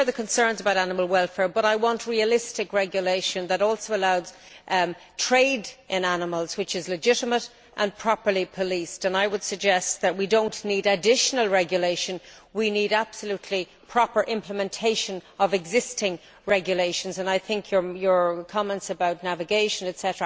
I share the concerns about animal welfare, but I want realistic regulation that also allows trade in animals which is legitimate and properly policed and I would suggest that we do not need additional regulation. We need absolutely proper implementation of existing regulations and I think your comments about navigation, etc.